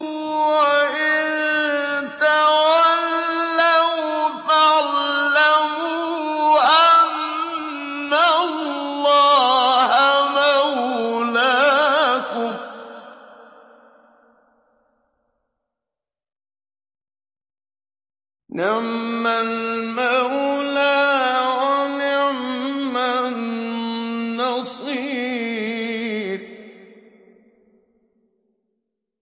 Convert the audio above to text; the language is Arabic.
وَإِن تَوَلَّوْا فَاعْلَمُوا أَنَّ اللَّهَ مَوْلَاكُمْ ۚ نِعْمَ الْمَوْلَىٰ وَنِعْمَ النَّصِيرُ